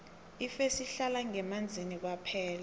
ifesi ihlala ngemanzini kwaphela